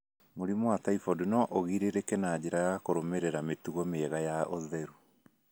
Mũrimũ wa typhoid no ũgirĩrĩke na njĩra ya kũrũmĩrĩra mĩtugo mĩega ya ũtheru.